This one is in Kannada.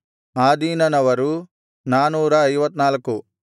ಆದೀನನವರು 454